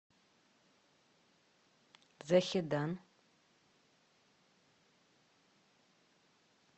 захедан